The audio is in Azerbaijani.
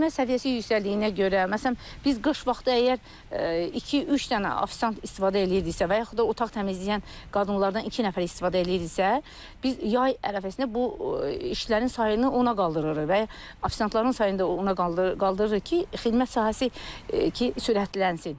Xidmət səviyyəsi yüksəldiyinə görə, məsələn, biz qış vaxtı əgər iki-üç dənə ofisant istifadə eləyirdiksə, və yaxud da otaq təmizləyən qadınlardan iki nəfər istifadə eləyirdiksə, biz yay ərəfəsində bu işlərin sayını ona qaldırırıq və ofisantların sayını da ona qaldırırıq ki, xidmət sahəsi ki, sürətlənsin.